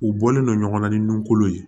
U bɔlen non ɲɔgɔn na ni nun kolo ye